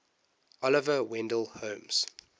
oliver wendell holmes